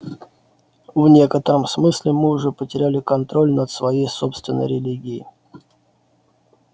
в некотором смысле мы уже потеряли контроль над своей собственной религией